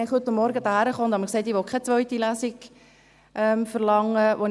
Ich kam heute Vormittag hierhin und sagte mir, dass ich keine zweite Lesung verlangen will.